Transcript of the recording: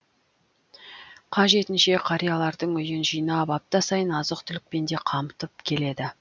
қажетінше қариялардың үйін жинап апта сайын азық түлікпен де қамтып келеді